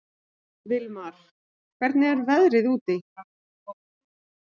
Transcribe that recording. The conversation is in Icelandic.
Vilmar, hvernig er veðrið úti?